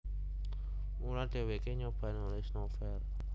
Mula dhèwèké nyoba nulis novel